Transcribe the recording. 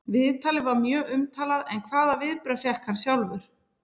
Viðtalið var mjög umtalað en hvaða viðbrögð fékk hann sjálfur?